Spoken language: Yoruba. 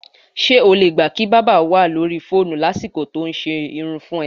S̩e o lè gbà kí bábà wà lórí fóònù lásìkò tó ń s̩erun fún e̩?